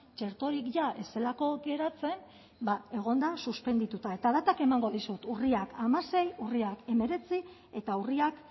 txerto hori bila ez zelako geratzen ba egonda suspendituta eta datak emango dizut urriak hamasei urriak hemeretzi eta urriak